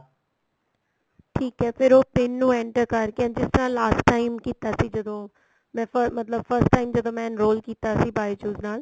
ਠੀਕ ਏ ਫ਼ਿਰ ਉਹ PIN ਨੂੰ enter ਕਰਕੇ ਜਿਸ ਤਰ੍ਹਾਂ last time ਕੀਤਾ ਸੀ ਜਦੋ ਮੈਂ first ਮਤਲਬ first time ਜਦੋ ਮੈਂ enroll ਕੀਤਾ ਸੀ bijou's ਨਾਲ